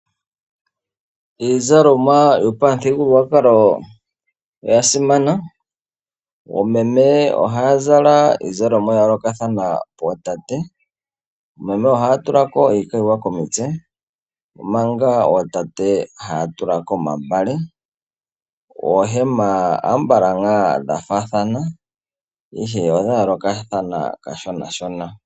Iizalomwa yopamuthigululwakalo oyasimana, oomeme ohaya zala iizalomwa yayoolokathana kootate, oomeme ohaya tulako iikayiwa komutse omanga ootate haya tulako omambale, oohema ambala ngaa dhafaathana ihe odhayoolokathana kashona shona.